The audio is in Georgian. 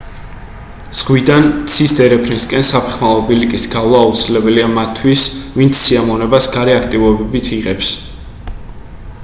ზღვიდან ცის დერეფნისკენ საფეხმავლო ბილიკის გავლა აუცილებელია მათთვის ვინც სიამოვნებას გარე აქტივობებით იღებს